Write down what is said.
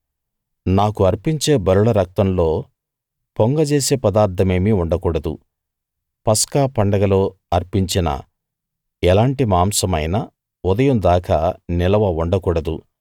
నాకు అర్పించే బలుల రక్తంలో పొంగజేసే పదార్థమేమీ ఉండకూడదు పస్కా పండగలో అర్పించిన ఎలాటి మాంసమైనా ఉదయం దాకా నిలవ ఉండకూడదు